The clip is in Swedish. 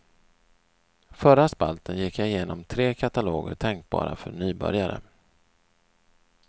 Förra spalten gick jag igenom tre kataloger tänkbara för nybörjare.